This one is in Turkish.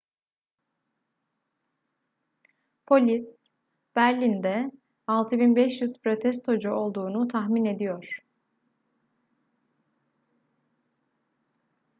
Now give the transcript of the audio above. polis berlin'de 6500 protestocu olduğunu tahmin ediyor